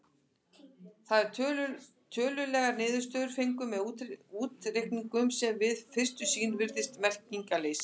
Þar eru tölulegar niðurstöður fengnar með útreikningum sem við fyrstu sýn virðast merkingarleysa.